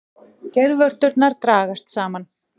Geirvörturnar dragast saman.